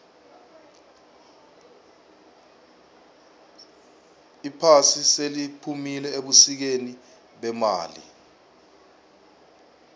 iphasi seliphumile ebusikeni bemali